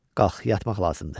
Qalx, yatmaq lazımdır.